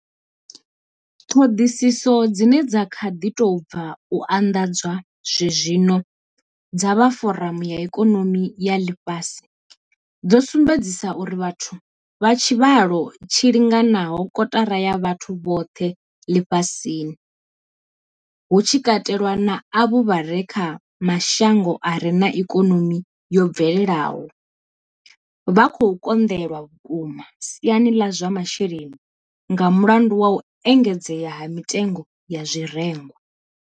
Ṱhoḓisiso dzine dza kha ḓi tou bva u anḓadzwa zwezwino dza vha Foramu ya Ikonomi ya Ḽifhasi dzo sumbedza uri vhathu vha tshivhalo tshi linganaho kotara ya vhathu vhoṱhe ḽifhasini, hu tshi katelwa na avho vha re kha mashango a re na ikonomi yo bvelelaho, vha khou konḓelwa vhukuma siani ḽa zwa masheleni nga mulandu wa u engedzea ha mitengo ya zwirengwa.